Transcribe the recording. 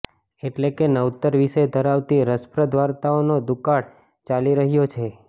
એટલે કે નવતર વિષય ધરાવતી રસપ્રદ વાર્તાઓનો દુુકાળ ચાલી રહ્યો છે